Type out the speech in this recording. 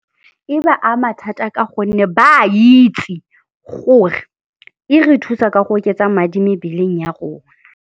E ba ama thata ka gonne ba a itse gore e re thusa ka go oketsa madi mebeleng ya rona.